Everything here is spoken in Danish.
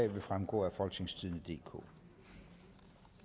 vil fremgå af folketingstidende DK